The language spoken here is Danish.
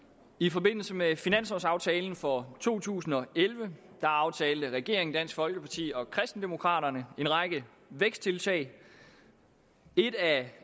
i forbindelse med finanslovaftalen for to tusind og elleve aftalte regeringen dansk folkeparti og kristendemokraterne en række væksttiltag et af